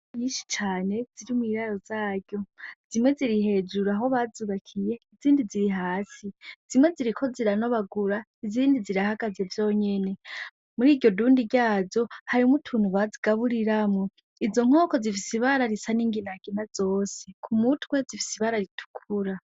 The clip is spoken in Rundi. Inkoko nyinshi cane ziri mw'iraro zaryo, zimwe ziri hejuru aho bazubakiye izindi ziri hasi, zimwe ziriko ziranobagura izindi zirahagaze zonyene, muriryo dundi ryazo harimwo utuntu bagaburiramwo, izo nkoko zifise ibara isa n'inginagina zose, ku mutwe zifise ibara ritukura.